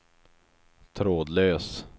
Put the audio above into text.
trådlös